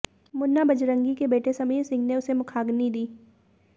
मुन्ना बजरंगी के बेटे समीर सिंह ने उसे मुखाग्नि दी